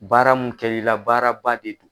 Baara munkɛlila baaraba de don